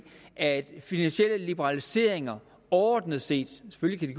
at finansielle liberaliseringer overordnet set selvfølgelig